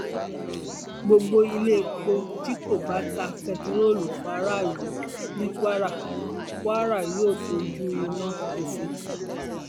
gbogbo iléepo tí kò bá ta bẹntiróòlù fáráàlú ní kwara kwara yóò fojú winá òfin